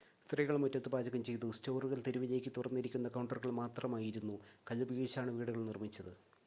സ്ത്രീകൾ മുറ്റത്ത് പാചകം ചെയ്തു സ്റ്റോറുകൾ തെരുവിലേക്ക് തുറന്നിരിക്കുന്ന കൗണ്ടറുകൾ മാത്രമായിരുന്നു കല്ല് ഉപയോഗിച്ചാണ് വീടുകൾ നിർമ്മിച്ചത്